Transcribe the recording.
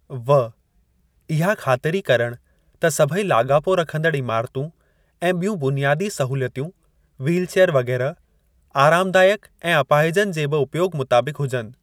(व) इहा ख़ातिरी करणु त सभेई लाॻापो रखंदड़ इमारतूं ऐं ॿियूं बुनियादी सहूलियतूं व्हीलचेयर वगै़रह आरामदायक ऐं अपाहिजनि जे बि उपयोग मुताबिक़ हुजनि।